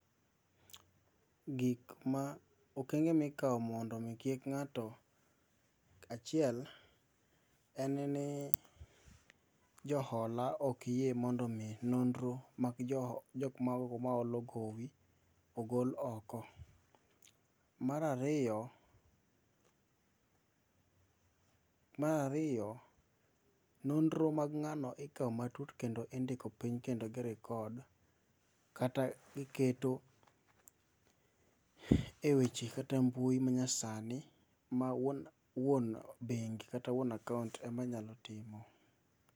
Gikma, okenge mikao mondo mi kik ng'ato, achiel en ni, jo hola ok yie mondo nonro mag jokma olo gowi ogol oko, mar ariyo, mar ariyo, nonro mag ngano ikao matut kendo indiko piny kendo gi record kata giketo e weche kata mbui manyasani ma wuon bengi kata wuon akaunt ema nyalo timo